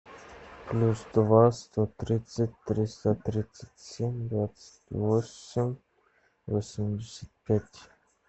плюс два сто тридцать триста тридцать семь двадцать восемь восемьдесят пять